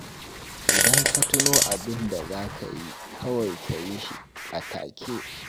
Idan ka tuno abin da za ka yi, kawai ka yi shi a take